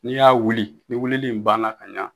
N'i y'a wuli ni wulili in banna ka ɲan..